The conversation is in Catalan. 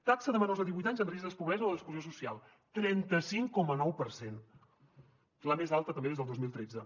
taxa de menors de divuit anys en risc de pobresa o d’exclusió social trenta cinc coma nou per cent la més alta també des del dos mil tretze